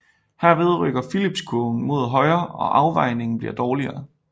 Herved rykker Phillipskurven mod højre og afvejningen bliver dårligere